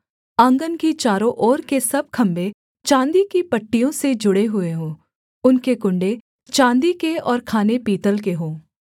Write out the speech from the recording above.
आँगन की चारों ओर के सब खम्भे चाँदी की पट्टियों से जुड़े हुए हों उनके कुण्डे चाँदी के और खाने पीतल के हों